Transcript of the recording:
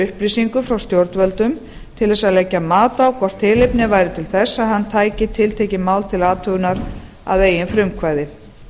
upplýsingum frá stjórnvöldum til að leggja mat á hvort tilefni væri til þess að hann tæki tiltekin mál til athugunar að eigin frumkvæði